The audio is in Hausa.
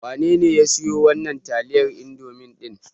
Wanene ya siyo wannan taliyar Indomi ɗin?